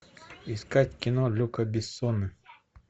искать кино люка бессона